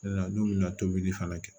n'u bɛna tobili fana kɛ